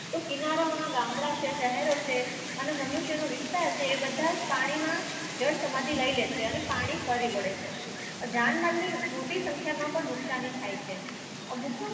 તો કિરાના નો ગામડાઓ છે સેહેરો છે અને મનુષ્ય નુ વિસ્તાર છે એ બધજ પાની માં જલ સમાધિ લઈ લે છે અને પાની ફરી વડે છે આ ધ્યાન મંદિર મોતી સાંખ્ય માં પણ નુક્સાની થાય છે